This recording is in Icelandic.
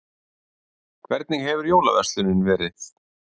Hvernig hefur jólaverslunin verið?